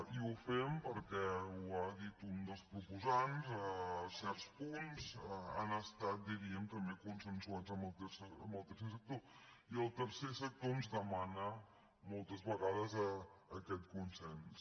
i ho fem perquè ho ha dit un dels proposants certs punts han estat diríem també consensuats amb el tercer sector i el tercer sector ens demana moltes vegades aquest consens